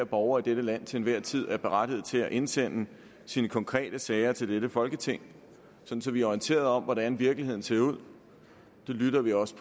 borger i dette land til enhver tid er berettiget til at indsende sine konkrete sager til dette folketing så vi er orienteret om hvordan virkeligheden ser ud det lytter vi også